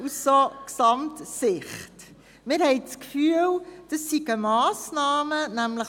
Wir haben den Eindruck, es seien dies die Massnahmen, die geplant sind.